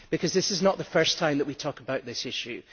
This is not the first time that we talk about this issue.